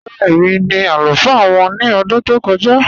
Rárá, èmi ni alufaa wọn ni ọdún tó kọ̀ja